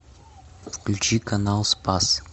включи канал спас